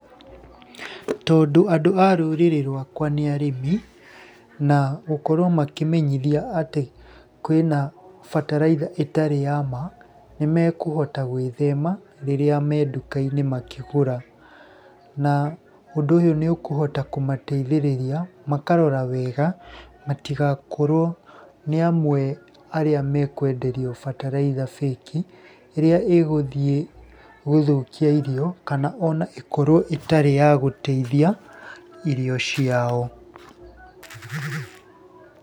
Tondũ andũ a rũrĩrĩ rwakwa nĩ arĩmi, na gũkorwo makĩmenyithia atĩ kwĩ na bataraitha ĩtarĩ ya ma, nĩ mekũhota gwithema rĩrĩa me nduka-inĩ makĩgũra. Na ũndũ ũyũ nĩ ũkũhota kũmateithĩrĩria makarora wega matigakorwo nĩ amwe arĩa mekwenderio bataraitha fake, ĩrĩa ĩgũthiĩ gũthũkia irio, kana ona ĩkorwo ĩtarĩ ya gũteithia irio ciao.